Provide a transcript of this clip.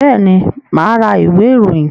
Bẹ́ẹ̀ni, mà á ra ìwé-ìròyìn.